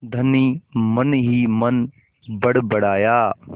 धनी मनहीमन बड़बड़ाया